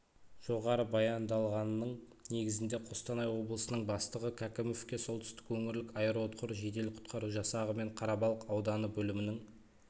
жоғары баяндалғанның негізінде қостанай облысының бастығы кәкімовке солтүстік өңірлік аэроұтқыр жедел-құтқару жасағы мен қарабалық ауданы бөлімінің